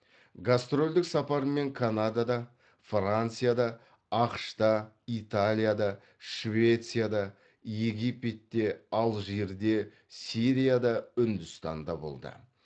гастрольдік сапармен канадада францияда ақш та италияда швецияда египетте алжирде сирияда үндістанда болды